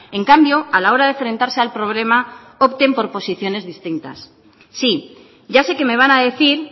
en cambio a la hora de enfrentarse al problema opten por posiciones distintas sí ya sé que me van a decir